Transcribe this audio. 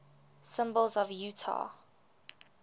symbols of utah